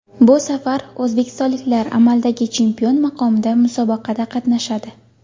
Bu safar o‘zbekistonliklar amaldagi chempion maqomida musobaqada qatnashadi.